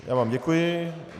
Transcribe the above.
Já vám děkuji.